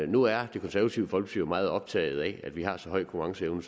nu er det konservative folkeparti optaget af at vi har så høj konkurrenceevne